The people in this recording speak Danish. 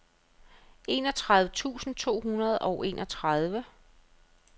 enogtredive tusind to hundrede og enogtredive